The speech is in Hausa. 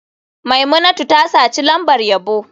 Maimunatu ta saci lambar yabo.